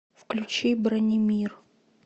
включи бранимир